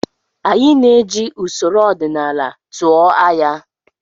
Anyị na-eji usoro ọdịnala tụọ anya.